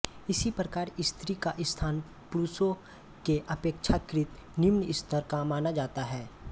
इसी प्रकार स्त्री का स्थान पुरूषों के अपेक्षाकृत निम्न स्तर का माना जाता है